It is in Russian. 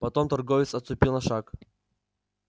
потом торговец отступил на шаг